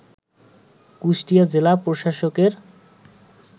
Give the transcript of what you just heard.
কুষ্টিয়া জেলা প্রশাসকের